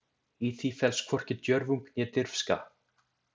Í því felst hvorki djörfung né dirfska.